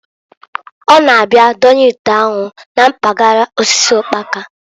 Ọ na-abia donye ite anwụ na mpagala osisi ụkpaka.